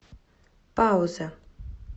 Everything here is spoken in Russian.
пауза